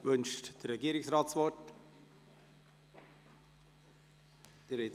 Wünscht der Regierungsrat das Wort?